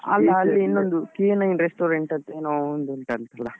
ಇನ್ನೊಂದು K nine restaurant ಅಂತ ಏನೋ ಒಂದು ಉಂಟಂತಲಾ?